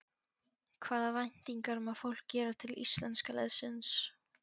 Hvaða væntingar má fólk gera til íslenska liðsins?